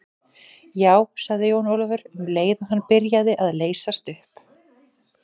Já, sagði Jón Ólafur, um leið og hann byrjaði að leysast upp.